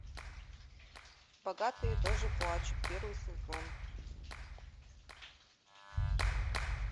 богатые тоже плачут первый сезон